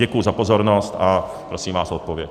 Děkuji za pozornost a prosím vás o odpověď.